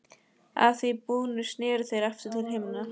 Að því búnu sneru þeir aftur til hinna.